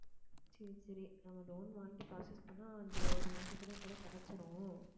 சரி சரி நம்ம loan வாங்கி process பண்ணா அந்த ஒரு மாசத்திலயே கூட கிடைச்சுரும்